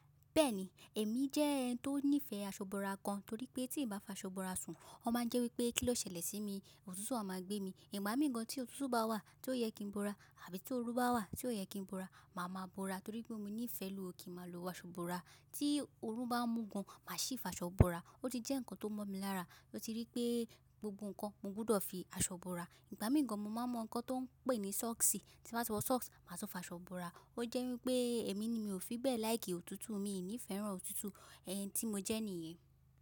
Bẹ́ẹ̀ni, èmi jẹ́ ẹni tó nífẹ̀ẹ́ aṣọ ìbora gan torí pé tí n bá f’aṣọ ìbora sùn, ó máa ń jẹ́ wípé kí ló ṣẹlẹ̀ sí mi, òtútù a máa gbé mi. Ìgbà míì gan tí òtútù bá wà tí ó yẹ kí n bora àbí tí ooru bá wà tí ò yẹ kí n bora, màá máa bora torí pé mo nífẹ̀ẹ́ lùú kí n máa lo aṣọ ìbora. Tí ooru bá mú gan, màá sì f’aṣọ bora. Ó ti jẹ́ ǹkan tó mọ́ mi lára, mo ti ríi pé gbogbo ǹkan mo gbúdọ̀ fi aṣọ bora. Ìgbà míì gàn mo máa mọ ǹkan tó ń pè ní sọ́ọ̀ksì, tí n bá ti wọ socks, màá tún fa aṣọ bora. Ó jẹ́ wípé èmi ni mi ò fi bẹ́ẹ̀ láìkì òtútù, miì ní ifẹran òtútù, ẹni tí mo jẹ́ nìyẹn.